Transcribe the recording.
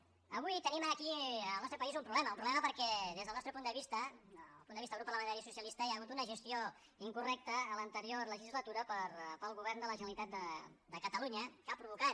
avui tenim aquí en el nostre país un problema un problema perquè des del nostre punt de vista del punt de vista del grup parlamentari socialista hi ha hagut una gestió incorrecta en l’anterior legislatura pel govern de la generalitat de catalunya que ha provocat